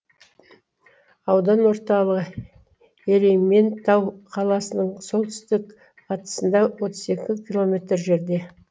аудан орталығы ерейментау қаласының солтүстік батысында отыз екі километр жерде